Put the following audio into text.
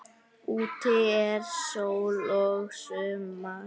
Úti er sól og sumar.